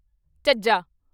ਝੱਝਾ